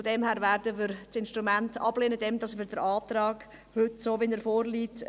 Deshalb werden wir das Instrument ablehnen, indem wir den Antrag so unterstützen, wie er heute vorliegt.